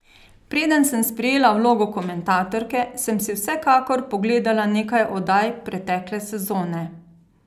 Preden sem sprejela vlogo komentatorke, sem si vsekakor pogledala nekaj oddaj pretekle sezone.